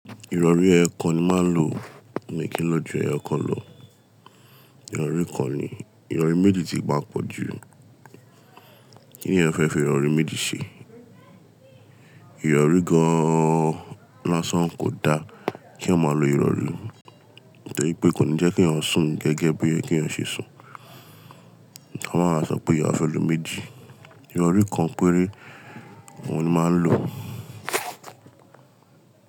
Ìrọ̀rí ẹ̀yokan ni màá ń lò mí kí n lọ́ jù ẹyọkan lọ. Ìrọ̀rí kan ni, ìrọ̀rí méjì ti maa pọ̀ jù. Kí ni ẹeyan fẹ́ fi ìrọ̀rí méjì ṣe? Ìrọ̀rí gan-an lásán kò da kí eeyan maa lo ìrọ̀rí. Tori pé kò ní jẹ́ kí eeyan sùn gẹ́gẹ́ bí oyẹ kí eeyan ṣe sùn. Wọ́n máa ń sọ pé à fe lo meji. Ìrọ̀rí kan péré ohun ni máa ń lò.